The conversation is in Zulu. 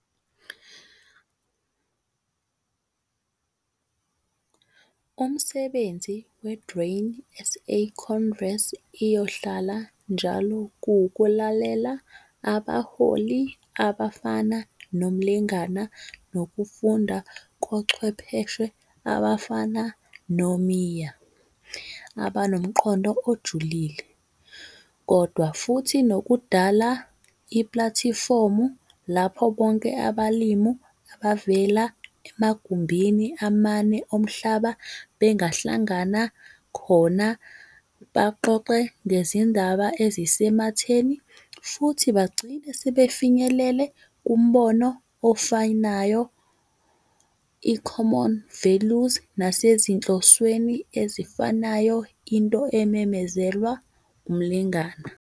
Umsebenzi we-Grain SA Congress iyohlala njalo kuwukulalela abaholi abafana noMlengana nokufunda kochwepheshe abafana no-Meyer abanomqondo ojulile, kodwa futhi nokudala iplatifomu lapho bonke abalimi abavela emagumbini amane omhlaba bengahlangana khona baxoxe nezindaba ezisematheni futhi bagcine sebefinyelele kumbono ofanayo, i-common values nasezinhlsweni ezifanayo into ememezelwa uMlengana.